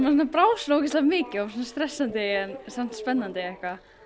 brá ógeðslega mikið stressandi en samt spennandi